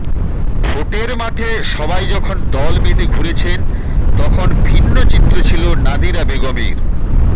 ভোটের মাঠে সবাই যখন দলবেঁধে ঘুরেছেন তখন ভিন্ন চিত্র ছিল নাদিরা বেগমের